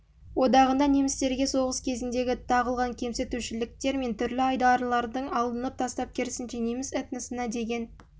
одағында немістерге соғыс кезіндегі тағылған кемсітушіліктер мен түрлі айдарлардың алынып тастап керісінше неміс этносына деген